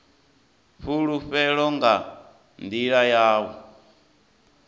fhulufhelo nga nḓila ya u